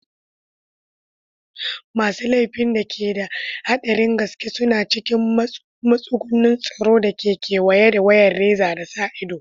Masu laifin da ke da haɗarin gaske suna cikin matsugunin tsaro da ke kewaye da wayar reza da sa ido.